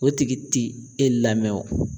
O tigi ti e lamɛn o